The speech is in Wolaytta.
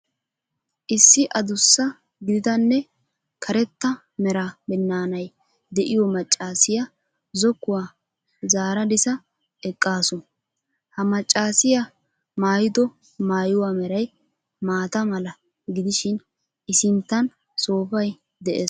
Issi adussa gididanne karetta mera binnaanay de'iyo maccaasiya zokkuwa zaaradsa eqqaasu . Ha maccaasiya maayado maayuwa meray maata mala gidishin I sinttan soofay de'ees.